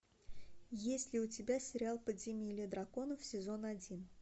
есть ли у тебя сериал подземелье драконов сезон один